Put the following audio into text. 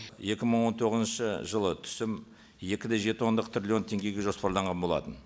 екі мың он тоғызыншы жылы түсім екі де жеті ондық трилион теңгеге жоспарланған болатын